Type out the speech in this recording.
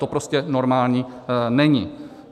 To prostě normální není.